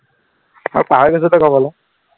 আৰু পাহৰি গৈছ তই কবলে